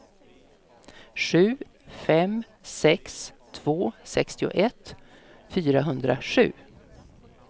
sju fem sex två sextioett fyrahundrasju